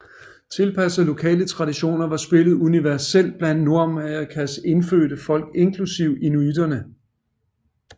Tilpasset lokale traditioner var spillet universelt blandt Nordamerikas indfødte folk inklusive inuitterne